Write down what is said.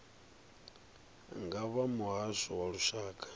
nga vha muhasho wa lushaka